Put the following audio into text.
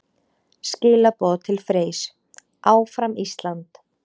Skilaboð til Freys: Áfram Ísland!